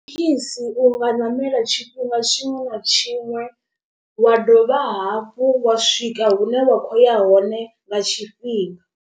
Thekhisi u nga ṋamela tshifhinga tshiṅwe na tshiṅwe, wa dovha hafhu wa swika hune wa khou ya hone nga tshifhinga.